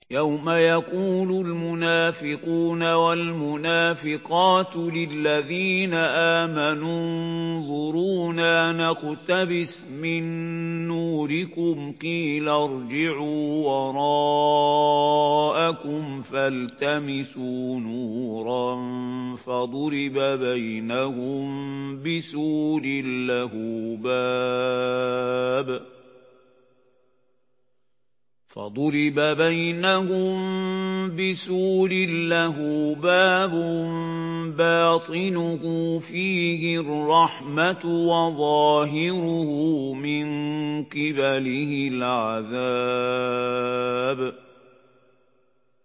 يَوْمَ يَقُولُ الْمُنَافِقُونَ وَالْمُنَافِقَاتُ لِلَّذِينَ آمَنُوا انظُرُونَا نَقْتَبِسْ مِن نُّورِكُمْ قِيلَ ارْجِعُوا وَرَاءَكُمْ فَالْتَمِسُوا نُورًا فَضُرِبَ بَيْنَهُم بِسُورٍ لَّهُ بَابٌ بَاطِنُهُ فِيهِ الرَّحْمَةُ وَظَاهِرُهُ مِن قِبَلِهِ الْعَذَابُ